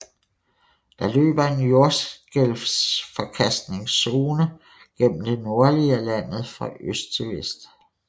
Der løber en jordskælvsforkastningszone gennem det nordlige af landet fra øst til vest